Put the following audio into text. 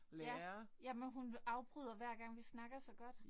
Ja ja men hun vil afbryder hver gang vi snakker så godt